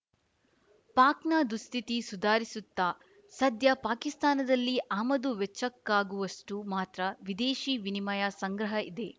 ಪಾಕ್‌ನ ದುಸ್ಥಿತಿ ಸುಧಾರಿಸುತ್ತಾ ಸದ್ಯ ಪಾಕಿಸ್ತಾನದಲ್ಲಿ ಆಮದು ವೆಚ್ಚಕ್ಕಾಗುವಷ್ಟುಮಾತ್ರ ವಿದೇಶಿ ವಿನಿಮಯ ಸಂಗ್ರಹ ಇದೆ